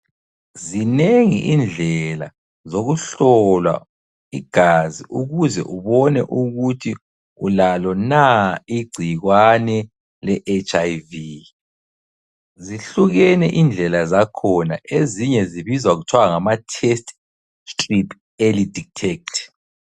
Zinengi indlela zokuhlola igazi ukuze ubone ukuthi ulalo na igcikwane le HIV. Zihlukene indlela zakhona ezinye zibizwa kuthiwa ngama Test Clip Early Detect.